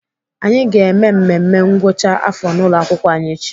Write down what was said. Anyị ga-eme mmemme ngwụcha afọ n'ụlọakwụkwọ anyị echi.